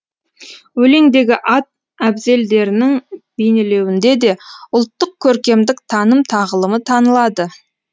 өлеңдегі ат әбзелдерінің бейнеленуінде де ұлттық көркемдік таным тағылымы танылады